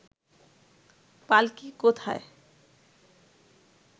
পাল্কী কোথায়